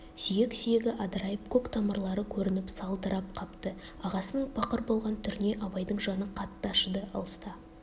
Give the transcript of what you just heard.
сүйек-сүйегі адырайып көк тамырлары көрініп салдырап қапты ағасының пақыр болған түріне абайдың жаны қатты ашыды алыста